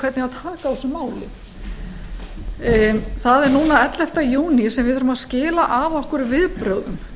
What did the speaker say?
hvernig á að taka á þessum málum það er núna ellefta júní sem við eigum að skila af okkur viðbrögðum